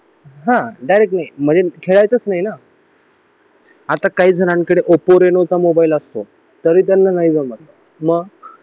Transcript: हा डायरेक्ट नाही आमच्या खेळायचा नाही ना आता काही जणांकडे ऑप्पो रेनो चा मोबाईल असतो तरी त्यांना नाही जमत मग